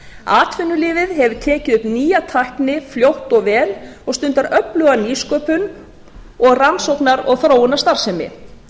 atvinnulífið hefur tekið upp nýja tækni fljótt og vel og stundar öfluga nýsköpun og rannsóknar og þróunarstarfsemi